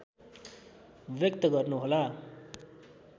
व्यक्त गर्नुहोला